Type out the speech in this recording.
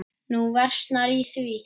Nú versnar í því.